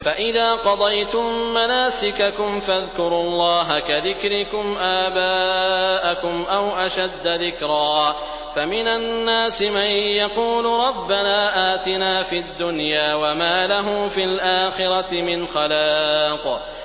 فَإِذَا قَضَيْتُم مَّنَاسِكَكُمْ فَاذْكُرُوا اللَّهَ كَذِكْرِكُمْ آبَاءَكُمْ أَوْ أَشَدَّ ذِكْرًا ۗ فَمِنَ النَّاسِ مَن يَقُولُ رَبَّنَا آتِنَا فِي الدُّنْيَا وَمَا لَهُ فِي الْآخِرَةِ مِنْ خَلَاقٍ